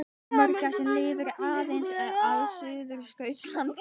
Keisaramörgæsin lifir aðeins á Suðurskautslandinu.